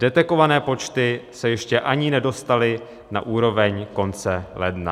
Detekované počty se ještě ani nedostaly na úroveň konce ledna.